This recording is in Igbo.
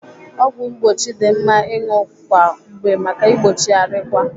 Ọgwụ mgbochi dị mma ịṅụ kwa mgbe maka igbochi arịkwa.